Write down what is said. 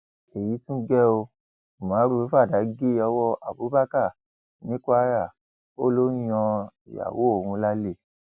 èyí tún gé o umaru fàdà gé ọwọ abubakar ní kwara ó lọ ń yan ìyàwó òun lálẹ